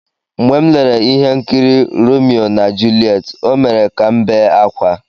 "Mgbe m lere ihe nkiri""Romeo na Juliet", O mere ka m bee ákwá."